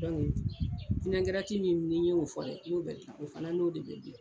min n'i ye o fɔ dɛ n'o bɛ dilan o fana n'o de bɛ dilan